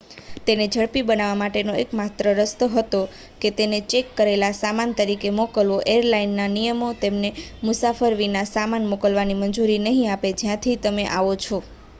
તેને ઝડપી બનાવવા માટેનો એકમાત્ર રસ્તો હતો કે તેને ચેક કરેલા સામાન તરીકે મોકલવો એરલાઇનના નિયમો તેમને મુસાફર વિના સામાન મોકલવાની મંજૂરી નહીં આપે જ્યાંથી તમે આવો છો